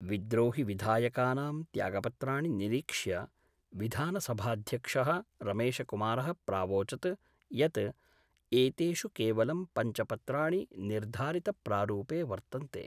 विद्रोहिविधायकानां त्यागपत्राणि निरीक्ष्य विधानसभाध्यक्ष: रमेशकुमारः प्रावोचत् यत् एतेषु केवलं पंच पत्राणि निर्धारितप्रारूपे वर्तन्ते।